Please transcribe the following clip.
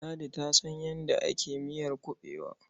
Ladi ta san yadda ake miyar kuɓewa.